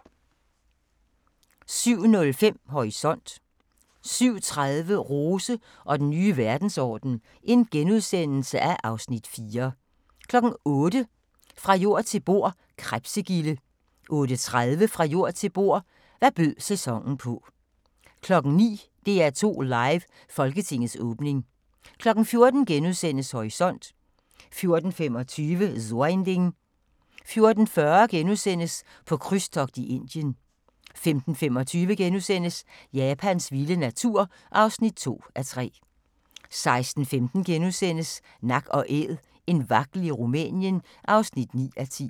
07:05: Horisont 07:30: Rose og den nye verdensorden (Afs. 4)* 08:00: Fra jord til bord: Krebsegilde 08:30: Fra jord til bord: Hvad bød sæsonen på 09:00: DR2 Live: Folketingets åbning 14:00: Horisont * 14:25: So ein Ding * 14:40: På krydstogt i Indien * 15:25: Japans vilde natur (2:3)* 16:15: Nak & Æd – en vagtel i Rumænien (9:10)*